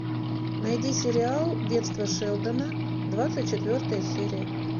найди сериал детство шелдона двадцать четвертая серия